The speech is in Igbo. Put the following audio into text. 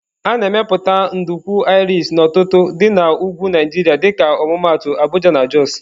A na-emepụta nduku Irish n'ọtụtụ dị na ugwu Nigeria dịka ọmụmaatụ Abuja, Jos.